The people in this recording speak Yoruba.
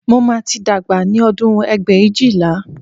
Mo máa tí dàgbà ní ọdún ẹgbẹ̀éjìlá